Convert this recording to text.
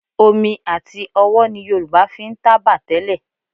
Omi àti ọwọ́ ni Yorùbá fi ń tábà tẹ́lẹ̀